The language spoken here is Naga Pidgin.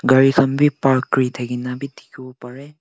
ghari khan bi park kuri thakina bi dikhiwo pareh.